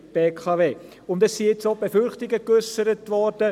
Es sind nun auch Befürchtungen geäussert worden.